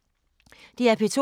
DR P2